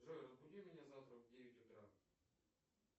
джой разбуди меня завтра в девять утра